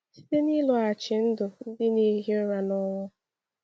Site n’ịlọghachi ndụ ndị na-ehi ụra n’ọnwụ.